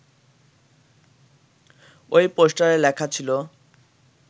ওই পোস্টারে লেখা ছিল